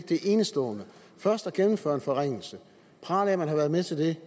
det er enestående først at gennemføre en forringelse og prale af at man har været med til det